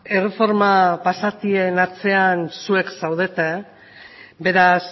erreforma basatien atzean zuek zaudete beraz